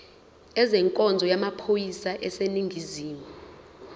ezenkonzo yamaphoyisa aseningizimu